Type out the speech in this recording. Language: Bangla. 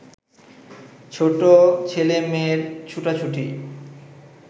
ছোট ছেলেমেয়ের ছুটাছুটি